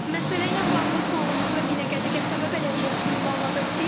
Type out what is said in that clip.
Məsələ ilə bağlı sualımızı Binəqədi qəsəbə bələdiyyəsinə ünvanladıq.